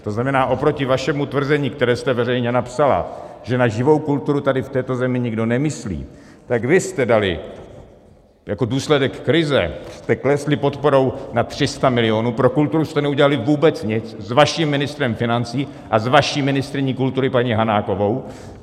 To znamená, oproti vašemu tvrzení, které jste veřejně napsala, že na živou kulturu tady v této zemi nikdo nemyslí, tak vy jste dali - jako důsledek krize jste klesli podporou na 300 milionů, pro kulturu jste neudělali vůbec nic s vaším ministrem financí a s vaší ministryní kultury paní Hanákovou.